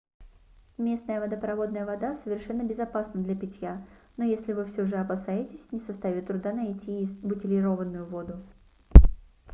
местная водопроводная вода совершенно безопасна для питья но если вы все же опасаетесь не составит труда найти и бутилированную воду